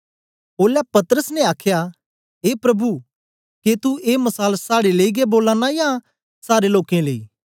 ओलै पतरस ने आखया ए प्रभु के तू ए मसाल साड़े लेई गै बोला नां ऐ या सारे लोकें लेई